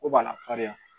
Ko b'a la farinya